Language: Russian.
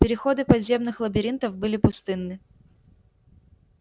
переходы подземных лабиринтов были пустынны